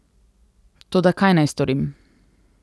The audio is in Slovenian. Toda kaj naj storim?